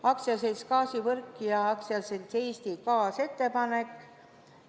AS-i Gaasivõrk ja AS-i Eesti Gaas ettepanek.